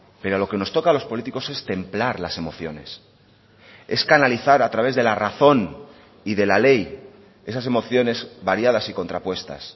pero a lo que nos toca a los políticos es templar las emociones es canalizar a través de la razón y de la ley esas emociones variadas y contrapuestas